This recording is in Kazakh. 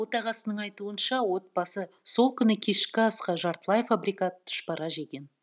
отағасының айтуынша отбасы сол күні кешкі асқа жартылай фабрикат тұшпара жеген